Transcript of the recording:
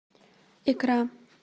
икра